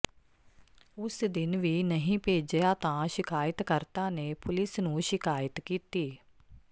ਉਸ ਦਿਨ ਵੀ ਨਹੀਂ ਭੇਜਿਆ ਤਾਂ ਸ਼ਿਕਾਇਤਕਰਤਾ ਨੇ ਪੁਲਿਸ ਨੂੰ ਸ਼ਿਕਾਇਤ ਕੀਤੀ